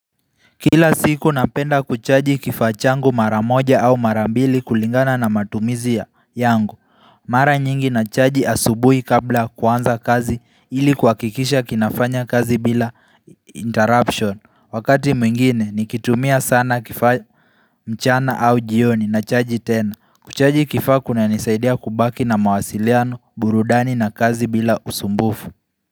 Kila siku napenda kuchaji kifaa changu mara moja au mara mbili kulingana na matumizi yangu Mara nyingi nachaji asubuhi kabla ya kuanza kazi ili kwa kuhakikisha kinafanya kazi bila interruption Wakati mwingine nikitumia sana kifaa mchana au jioni nachaji tena Kuchaji kifaa kunanisaidia kubaki na mawasiliano burudani na kazi bila usumbufu.